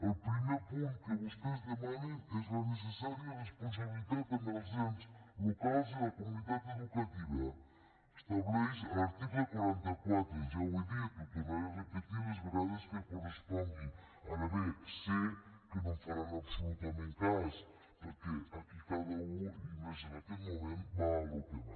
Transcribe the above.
el primer punt que vostès demanen és la necessària responsabilitat amb els ens locals i la comunitat educativa establert a l’article quaranta quatre ja ho he dit i ho tornaré a repetir les vegades que correspongui ara bé sé que no em faran absolutament cap cas perquè aquí cada u i més en aquest moment va al que va